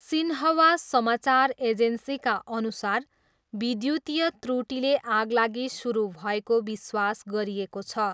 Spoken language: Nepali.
सिन्ह्वा समाचार एजेन्सीका अनुसार विद्युतीय त्रुटिले आगलागि सुरु भएको विश्वास गरिएको छ।